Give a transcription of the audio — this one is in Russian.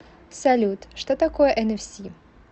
салют что такое энэфси